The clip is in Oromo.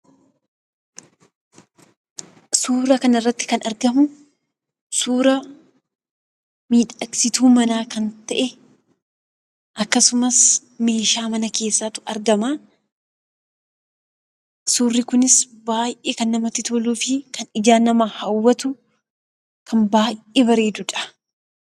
Suuraa kanarratti kan argamu, suura miidhagsituu manaa kan ta'e, akkasumas meeshaa mana keessattu argama. Suurri kunis baayyee kan namatti toluufi kan ijaan nama hawwatu, kan baayyee bareedudha